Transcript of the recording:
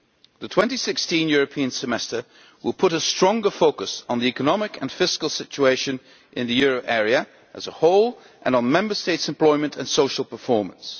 The 2016 European Semester will put a stronger focus on the economic and fiscal situation in the euro area as a whole and on Member States' employment and social performance.